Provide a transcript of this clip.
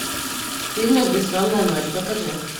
фильмик бессонная ночь покажи